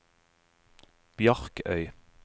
Bjarkøy